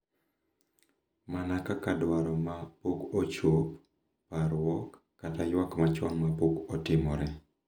Mana kaka dwaro ma pok ochop, parruok, kata ywak machon ma pok otimore.